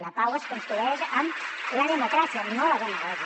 la pau es construeix amb la democràcia no la demagògia